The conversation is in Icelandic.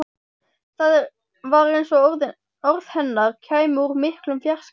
Það var eins og orð hennar kæmu úr miklum fjarska.